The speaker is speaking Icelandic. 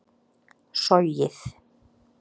sogið